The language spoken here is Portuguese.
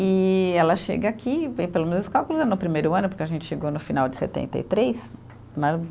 E ela chega aqui, vem pelos meus cálculos é no primeiro ano, porque a gente chegou no final de setenta e três né